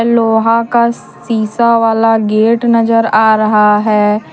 लोहा का सीसा वाला गेट नजर आ रहा है।